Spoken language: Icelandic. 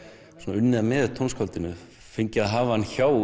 unnið með tónskáldinu fengið að hafa hann hjá